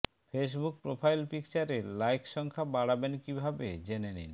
Facebook profile পিকচারে like সংখ্যা বাড়াবেন কীভাবে জেনে নিন